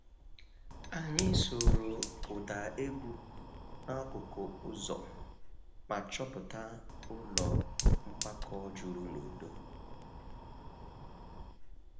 Anyị sooro ụda egwu n`akụkụ ụzọ ma chọpụta ụlọ mgbakọ juru n`udo